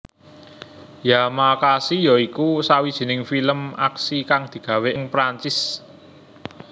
Yamakasi ya iku sawijining film aksi kang digawé ing Perancis